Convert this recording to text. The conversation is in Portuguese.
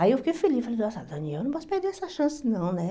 Aí eu fiquei feliz, falei, nossa, Daniel, eu não posso perder essa chance não, né?